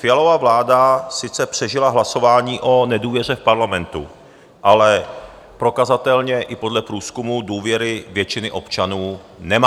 Fialova vláda sice přežila hlasování o nedůvěře v Parlamentu, ale prokazatelně i podle průzkumů důvěru většiny občanů nemá.